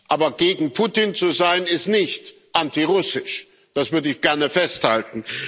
Aber gegen Putin zu sein, ist nicht antirussisch, das würde ich gerne festhalten.